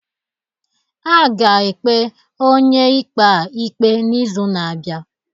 A ga-ekpe onye ikpe a ikpe n'izu na-abịa.